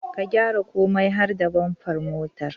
Ka gyara komai har da bamfar motar